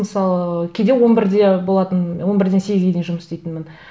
мысалы кейде он бірде болатын он бірден сегізге дейін жұмыс істейтінмін